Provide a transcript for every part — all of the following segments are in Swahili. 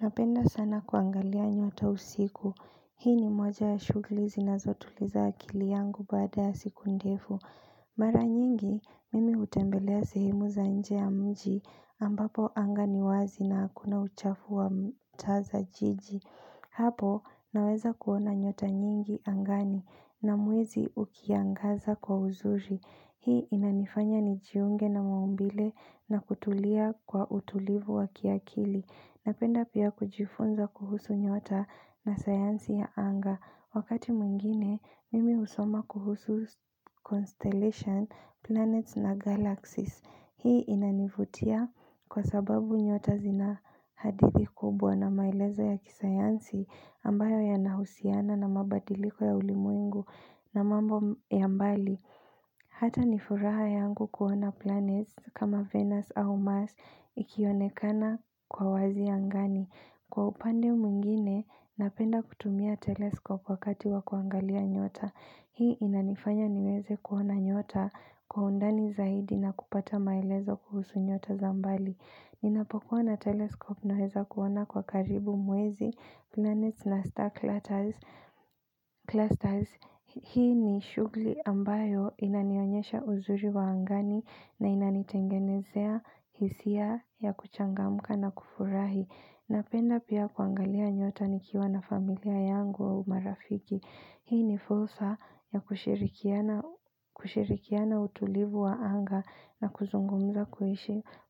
Napenda sana kuangalia nyota usiku. Hii ni moja ya shughuli zina zotuliza akili yangu baada ya siku ndefu. Mara nyingi, mimi hutembelea sehemu za nje ya mji ambapo anga niwazi na hakuna uchafu wa mtaa za jiji. Hapo, naweza kuona nyota nyingi angani na mwezi ukiangaza kwa uzuri. Hii inanifanya ni jiunge na maumbile na kutulia kwa utulivu wa kiakili. Napenda pia kujifunza kuhusu nyota na sayansi ya anga. Wakati mwingine, mimi husoma kuhusu constellation, planets na galaxies. Hii inanivutia kwa sababu nyota zina hadithi kubwa na maeleza ya kisayansi ambayo ya nahusiana na mabadiliko ya ulimwengu na mambo ya mbali. Hata nifuraha yangu kuona planets kama Venus au Mars ikionekana kwa wazi angani. Kwa upande mwingine, napenda kutumia telescope wakati wakuangalia nyota. Hii inanifanya niweze kuona nyota kwa undani zaidi na kupata maelezo kuhusu nyota za mbali ninapokuwa na telescope naweza kuona kwa karibu mwezi nane na star clusters hii ni shughuli ambayo inanionyesha uzuri wa angani na inanitengenezea hisia ya kuchangamka na kufurahi napenda pia kuangalia nyota nikiwa na familia yangu au marafiki hii ni fursa ya kushirikiana utulivu wa anga na kuzungumza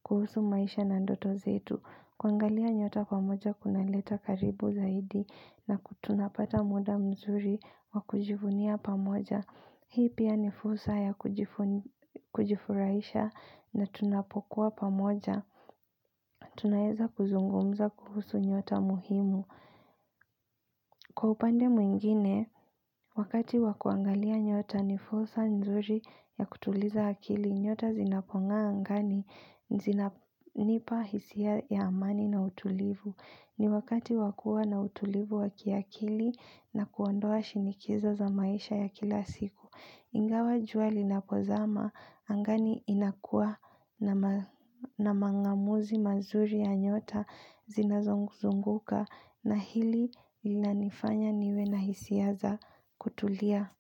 kuhusu maisha na ndoto zetu kuangalia nyota pamoja kunaleta karibu zaidi na tunapata muda mzuri wa kujivunia pamoja hii pia ni fursa ya kujifurahisha na tunapokuwa pamoja tunaweza kuzungumza kuhusu nyota muhimu kwa upande mwingine wakati wa kuangalia nyota ni fursa nzuri ya kutuliza akili nyota zinapongaa angani zinanipa hisia ya amani na utulivu ni wakati wa kuwa na utulivu wa kiakili na kuondoa shinikizo za maisha ya kila siku Ingawa jua lina pozama angani inakua na mangamuzi mazuri ya nyota zinazozunguka na hili linanifanya niwe na hisia za kutulia.